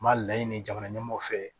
N b'a laɲini jamana ɲɛmɔgɔw fɛ